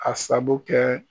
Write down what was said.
A sago kɛ.